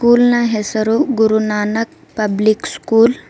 School ನ ಹೆಸರು Guru Nanak public school .